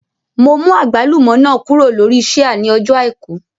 Mo mú àgbálùmọ́ náà kúrò lórí ṣíà ní ọjọ́ àìkú